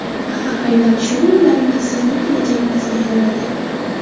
Axir, aynan shu o‘ylaringiz sizning kelajagingizga aylanadi.